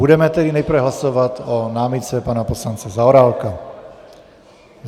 Budeme tedy nejprve hlasovat o námitce pana poslance Zaorálka.